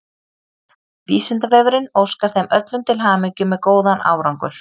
Vísindavefurinn óskar þeim öllum til hamingju með góðan árangur!